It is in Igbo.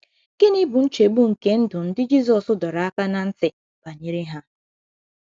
Gịnị bụ nchegbu nke ndụ ndị Jizọs dọrọ aka ná ntị banyere ha?